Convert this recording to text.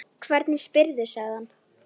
Hvernig spyrðu, sagði hann.